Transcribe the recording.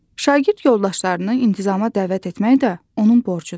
Şagird yoldaşlarını intizama dəvət etmək də onun borcudur.